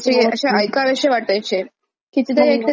कितीदा ऐकलं तरी आपणअसं इरिटेट नव्हतो होत.